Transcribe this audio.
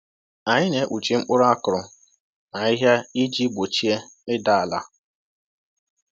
Anyị na-ekpuchi mkpụrụ a kụrụ na ahịhịa iji gbochie ịda ala.